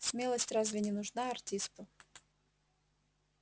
смелость разве не нужна артисту